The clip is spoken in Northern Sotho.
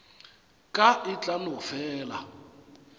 ka e tla no fela